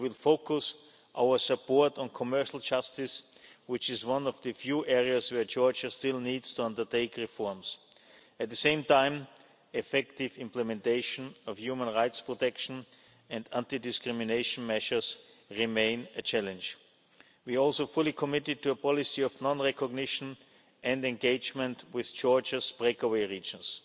We will focus our support on commercial justice, which is one of the few areas where Georgia still needs to undertake reforms. At the same time, effective implementation of human rights protection and anti discrimination measures remain a challenge. We are also fully committed to a policy of non recognition and engagement with Georgia's breakaway regions.